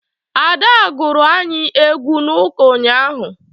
Ada gụrụ anyị egwu n'ụka unyaahụ